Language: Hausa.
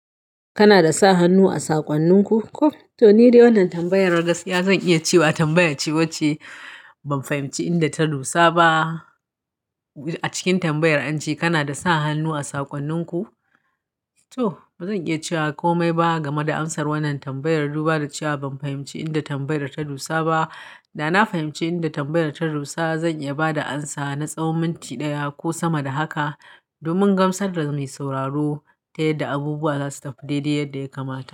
Kana da sa hannu a sakonninku? Ko, to ni dai wannan tambayar gaskiya zan iya cewa tambayar ce wacce ban fahimci inda ta dosa ba. A cikin tambayar an ce kana da sa hannu a sakonninku? Toh, bazan iya cewa komai ba game da amsar wannan tambayar duba da cewa ban fahimci inda tambayar ta dosa ba. Da na fahimci inda tambayar ta dosa zan iya ba da amsa na tsawon minti ɗaya ko sama da haka. Domin gamsar da mai sauraro, ta yadda abubuwa za su tafi daidai yadda ya kamata.